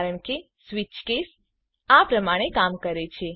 કારણ કે switch case આ પ્રમાણે કામ કરે છે